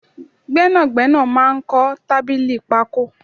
Gbẹ́nàgbẹ́nà máa ń kọ tábìlì pako